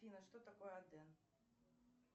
афина что такое аден